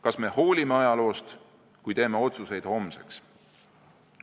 Kas me hoolime ajaloost, kui teeme otsuseid homseks?